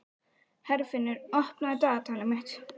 Herfinnur, opnaðu dagatalið mitt.